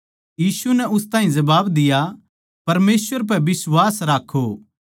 यीशु नै उस ताहीं जबाब दिया परमेसवर पै बिश्वास राक्खो